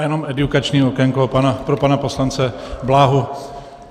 Já jenom edukační okénko pro pana poslance Bláhu.